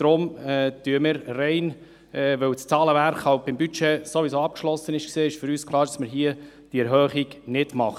Weil das Zahlenwerk bei der Budgeterstellung abgeschlossen war, ist es für uns klar, dass wir diese Erhöhung nicht wollen.